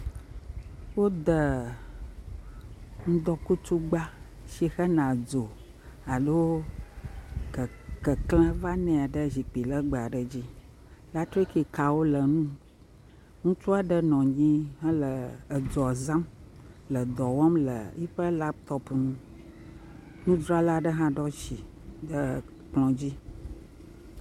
Woda ŋdɔkutsugba si hene dzo alo ke keklẽ vanae ɖe zikpui legbẽ aɖe dzi. Elektrikikawo le eŋu. Ŋutsu aɖe nɔ anyi hele dzoa zam le dɔ wɔm le eƒe lapitɔpi ŋu. Nudzrala aɖe hã ɖo asi ɖe kplɔ̃ dzi.